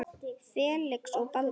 Felix og Baldur.